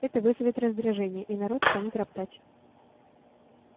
это вызовет раздражение и народ станет роптать